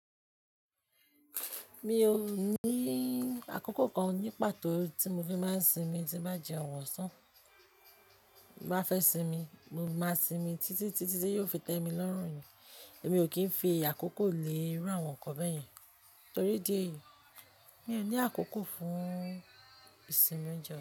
Mi ò ní àkókò kan ní pàtó tí mo fi máa ń sinmi tí bá jẹ òun ọsan bá fẹ́ sinmi, mo máa sinmi títí tí yóò fi tẹ́ mi lọ́rùn nìí. Èmi ò kí ń fi àkókò lé irú àwọn ǹkan bẹ́yẹn torí ìdí ẹ̀yìí. Mi ò ní àkókò fún ìsinmi oúnjẹ.